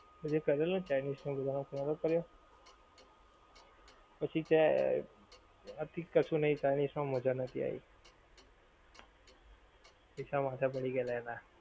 જે કરેલો ને chinese બધાનો નોહતો કર્યો પછી તે અથિક કશું નહીં chinese મા મજા નોહતી આવી. પૈસા માથે પડી ગયેલા એના